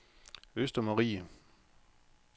Østermarie